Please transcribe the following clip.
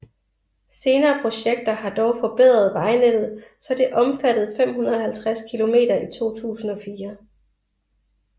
Senere projekter har dog forbedret vejnettet så det omfattede 550 km i 2004